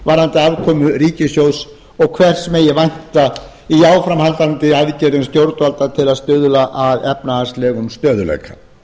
varðandi afkomu ríkissjóðs og hvers megi vænta í áframhaldandi aðgerðum stjórnvalda til að stuðla að efnahagslegum stöðugleika